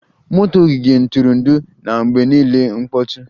Motor ogige ntụrụndụ na-mgbe niile mkpọtụ